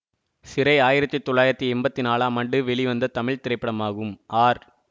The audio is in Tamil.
சிறை ஆயிரத்தி தொள்ளாயிரத்தி எம்பத்தி நாளாம் ஆண்டு வெளிவந்த தமிழ் திரைப்படமாகும் ஆர்